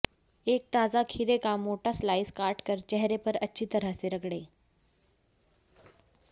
एक ताजा खीरे का मोटा स्लाइस काट कर चेहरे पर अच्छी तरह से रगड़ें